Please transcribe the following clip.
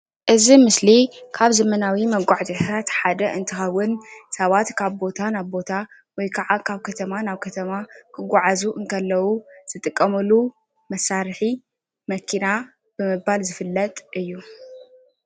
እዚ ኣብ ምስሊ ካብ ዘመናዊ መጋዓዕዝያታት ሓደ እንትከውን ትግራይ እንትከውን ሰባት ካብ ቦታ ናብ ቦታ ወይ ከዓ ካብ ካተማ ናብ ከተማ ክጓዓዙ እንተለዉ ዝጥቀምሉ መሳርሒ መኪና ብምባል ዝፍለጥ እዩ፡፡